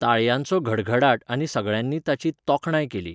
ताळयांचो घडघडाट आनी सगळ्यांनी ताची तोखणाय केली.